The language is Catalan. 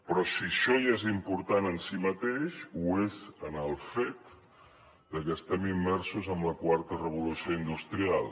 però si això ja és important en si mateix ho és en el fet de que estem immersos en la quarta revolució industrial